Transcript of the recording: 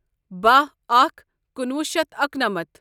بہہَ اکھ کُنوُہ شیتھ اکنَمتھ